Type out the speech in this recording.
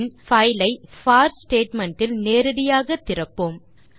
பின் file ஐ போர் statement இல் நேரடியாக திறப்போம்